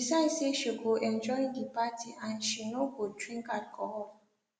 shey decide say she go enjoy the party and she no go drink alcohol